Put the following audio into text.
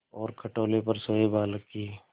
और खटोले पर सोए बालक की